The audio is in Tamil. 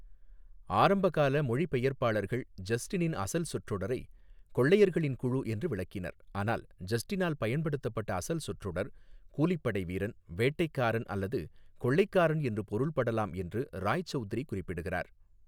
ஆரம்பகால மொழிபெயர்ப்பாளர்கள் ஜஸ்டினின் அசல் சொற்றொடரை 'கொள்ளையர்களின் குழு' என்று விளக்கினர், ஆனால் ஜஸ்டினால் பயன்படுத்தப்பட்ட அசல் சொற்றொடர் 'கூலிப்படை வீரன், வேட்டைக்காரன் அல்லது கொள்ளைக்காரன்' என்று பொருள்படலாம் என்று ராய்சவுத்ரி குறிப்பிடுகிறார்.